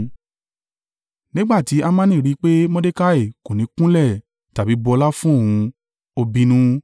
Nígbà tí Hamani rí i pé Mordekai kò ní kúnlẹ̀ tàbí bu ọlá fún òun, ó bínú.